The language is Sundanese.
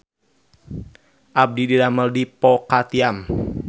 Abdi didamel di Po Ka Tiam